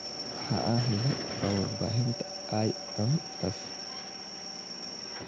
"Waxa aan helay waa warbixinta IMF.